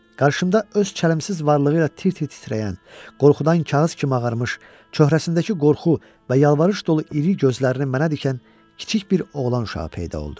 Qarşımda öz kəlimsiz varlığı ilə tir-tir titrəyən, qorxudan kağız kimi ağarmış, çöhrəsindəki qorxu və yalvarış dolu iri gözlərini mənə dikən kiçik bir oğlan uşağı peyda oldu.